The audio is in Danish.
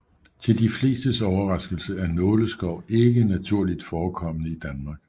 Til de flestes overraskelse er nåleskov ikke naturligt forekommende i Danmark